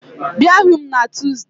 Bịa hụ m na Tuzdee